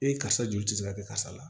Ee karisa joli tɛ se ka kɛ karisa la